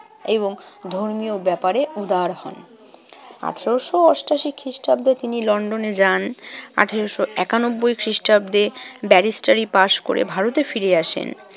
এবং ধর্মীয় ব্যাপারে উদার হন। আঠারোশো অষ্টাশি খ্রিষ্টাব্দে তিনি লন্ডনে যান। আঠারোশো একানব্বই খ্রিষ্টাব্দে ব্যারিস্টারি পাশ করে ভারতে ফিরে আসেন।